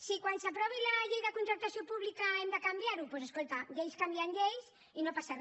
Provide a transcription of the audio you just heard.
si quan s’aprovi la llei de contractació pública hem de canviarho doncs escolta lleis canvien lleis i no passa re